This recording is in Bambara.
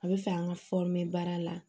A bɛ fɛ an ka baara la